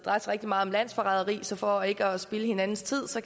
rigtig meget om landsforræderi så for ikke at spilde hinandens tid